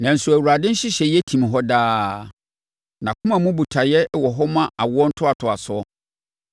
Nanso, Awurade nhyehyɛeɛ tim hɔ daa, nʼakoma mu botaeɛ wɔ hɔ ma awoɔ ntoatoasoɔ.